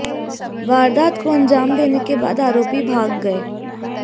वारदात को अंजाम देने के बाद आरोपी भाग गए